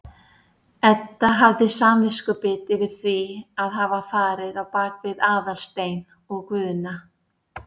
Edda hafði samviskubit yfir því að hafa farið á bak við Aðalstein og Guðna.